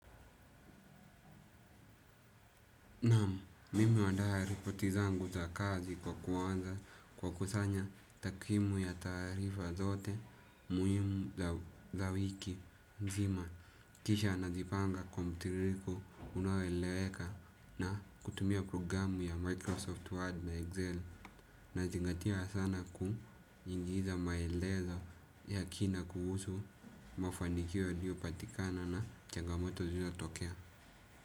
Naam, mimi huanda ripoti zangu za kazi kwa kuanza kwa kusanya takwimu ya taarifa zote muhimu za wiki mzima. Kisha nazipanga kwa mtiririko unaoeleweka na kutumia programu ya Microsoft Word na Excel. Nazingatia sana kuingiza maelezo ya kina kuhusu mafanikio yalio patikana na changamoto ilio tokea.